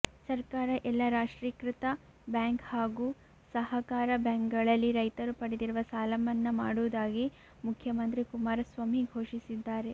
ಸರ್ಕಾರ ಎಲ್ಲಾ ರಾಷ್ಚ್ರೀಕೃತ ಬ್ಯಾಂಕ್ ಮತ್ತು ಸಹಕಾರ ಬ್ಯಾಂಕ್ ಗಳಲ್ಲಿ ರೈತರು ಪಡೆದಿರುವ ಸಾಲಮನ್ನಾ ಮಾಡುವುದಾಗಿ ಮುಖ್ಯಮಂತ್ರಿ ಕುಮಾರಸ್ವಾಮಿ ಘೋಷಿಸಿದ್ದಾರೆ